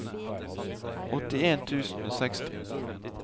åttien tusen og seksti